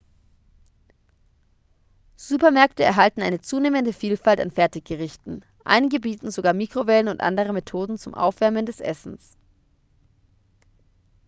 supermärkte erhalten eine zunehmende vielfalt an fertiggerichten einige bieten sogar mikrowellen und andere methoden zum aufwärmen des essens